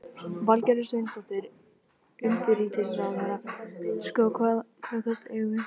Valgerður Sverrisdóttir, utanríkisráðherra: Sko, hvaða kosti eigum við?